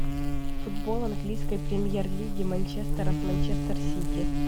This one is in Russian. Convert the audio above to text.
футбол английской премьер лиги манчестера с манчестер сити